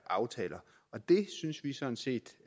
aftaler og det synes vi sådan set